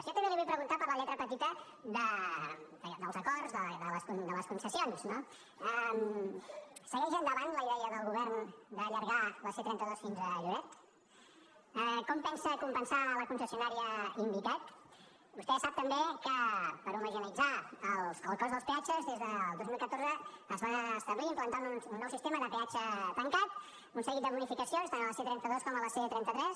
jo també li vull preguntar per la lletra petita dels acords de les concessions no segueix endavant la idea del govern d’allargar la c trenta dos fins a lloret com pensa compensar la concessionària invicat vostè sap també que per homogeneïtzar el cost dels peatges des del dos mil catorze es va establir implantar un nou sistema de peatge tancat un seguit de bonificacions tant a la c trenta dos com a la c trenta tres